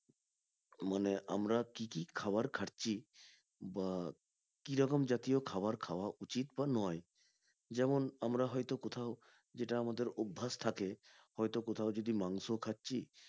মানে আমরা কি কি খাবার খাচ্ছি বা কিরকম খাওয়ার খাওয়া উচিত বা নয় যেমন আমরা হয়তো কোথাও যেটা আমাদের অভ্ভাস থাকে হয়তো কোথাও যদি মাংস খাচ্ছি